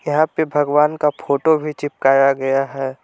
यहां पे भगवान का फोटो भी चिपकाया गया है।